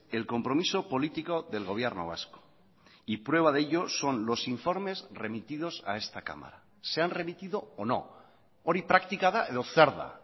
el compromiso político del gobierno vasco y prueba de ello son los informes remitidos a esta cámara se han remitido o no hori praktika da edo zer da